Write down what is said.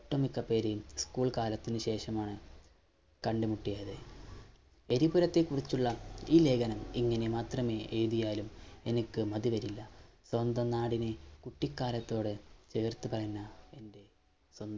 ഒട്ടുമിക്കപേരെയും ഉ School കാലത്തിനു ശേഷമാണ് കണ്ടുമുട്ടിയത് എരിപുരത്തെക്കുറിച്ചുള്ള ഈ ലേഖനം ഇങ്ങനെ മാത്രമേ എയുതിയാലും എനിക്ക് മതിവരില്ല സ്വന്തം നാടിനെ കുട്ടിക്കാലത്തോടെ ചേർത്തുകളഞ്ഞ എൻറെ സ്വ